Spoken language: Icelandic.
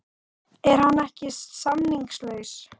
Er hann ekki samningslaus?